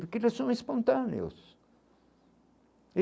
Porque eles são espontâneos